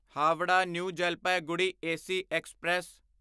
Howrah New Jalpaiguri AC express